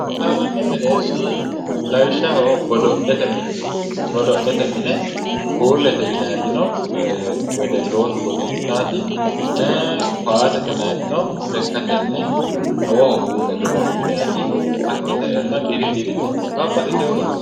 boohaaranni mereershi lawishshaho godo'lete mine godo'lete mine puullete yinayti no wedwllootu godo'litaawoti ee kasete yinaayti no lekkatenni xawoho fulle godo'linayti hakkii saeenna diri dirisinni babbaxiteewo godo'le no.